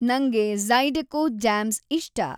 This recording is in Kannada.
ನಂಗೆ ಜೈ಼ಡೆಕೋ ಜ್ಯಾಮ್ಸ್‌ ಇಷ್ಟ